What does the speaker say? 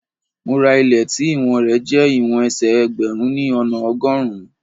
Mo ra ilé tí ìwọ̀n rẹ jẹ́ ìwọ̀n ẹsẹ̀ ẹgbẹ̀rún ni ona ọgọ́rùn-ún.